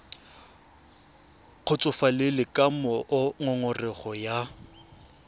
kgotsofalele ka moo ngongorego ya